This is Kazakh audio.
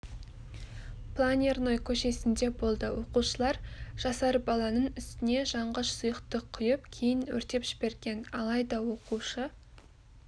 планерной көшесінде болды оқушылар жасар баланың үстіне жанғыш сұйықтық құйып кейін өртеп жіберген алайда оқушы